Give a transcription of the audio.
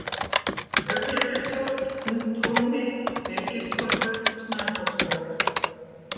Augnlækjartóft, Punthólmi, Byrgistorfur, Snæfoksstaðir